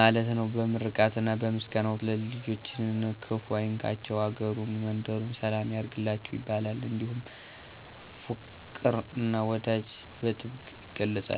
ማለት ነው። በምርቃትና በምስጋና ወቅት ልጆችን ክፍ አይንካቸቸው፤ አገሩን መንደሩን ሰላም ያርግላችሁ ይባላል። እንዲሁም ፋቅር እና ወዳጅነትን በጥብቅ ይገለፃል።